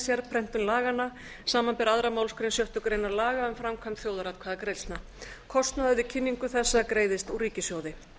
sérprentun laganna samanber aðra málsgrein sjöttu grein laga um framkvæmd þjóðaratkvæðagreiðslna kostnaður við kynningu þessa greiðist úr ríkissjóði